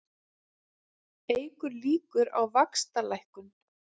Eykur líkur á vaxtalækkun